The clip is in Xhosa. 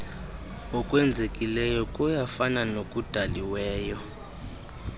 okwenzekileyo kuyafana nokudaliweyo